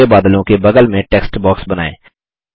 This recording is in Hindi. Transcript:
और ग्रै बादलों के बगल में टेक्स्ट बॉक्स बनाएँ